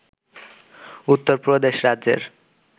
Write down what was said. উত্তর প্রদেশ রাজ্যের